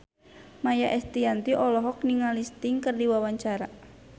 Maia Estianty olohok ningali Sting keur diwawancara